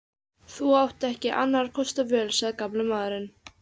Þú átt ekki annarra kosta völ sagði gamli maðurinn.